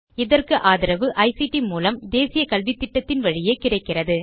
இதற்கு ஆதரவு ஐசிடி மூலம் தேசிய கல்வித்திட்டத்தின் வழியே கிடைக்கிறது